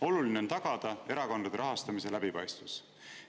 Oluline on tagada erakondade rahastamise läbipaistvus.